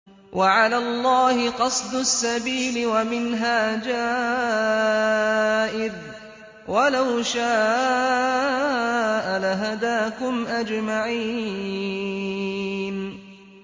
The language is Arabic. وَعَلَى اللَّهِ قَصْدُ السَّبِيلِ وَمِنْهَا جَائِرٌ ۚ وَلَوْ شَاءَ لَهَدَاكُمْ أَجْمَعِينَ